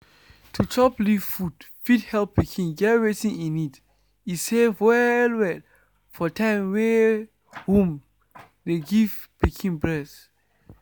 to chop leaf food fit help pikin get wetin e need. e safe well-well for time wey womn de give pikin breast.